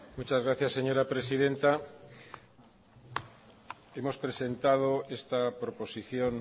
muchas gracias señora presidenta hemos presentado esta proposición